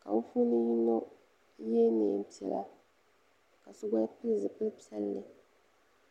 ka bɛ puuni yino ye niɛn piɛla ka so gba pili zipli piɛlli